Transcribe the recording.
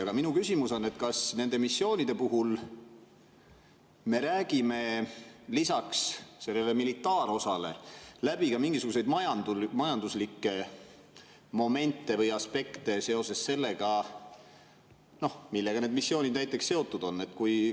Aga minu küsimus on, et kas nende missioonide puhul me räägime lisaks sellele militaarosale läbi ka mingisuguseid majanduslikke momente või aspekte seoses sellega, millega need missioonid seotud on?